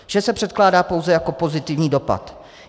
Vše se předkládá pouze jako pozitivní dopad.